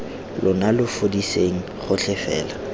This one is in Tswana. lona lo fudiseng gotlhe fela